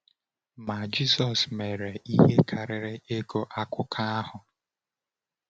Ma Jisọs mere ihe karịrị ịgụ akụkọ ahụ.